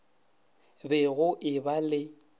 be go e ba le